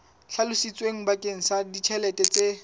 hlalositsweng bakeng sa ditjhelete tse